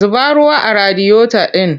Zuba ruwa a radiyota ɗin!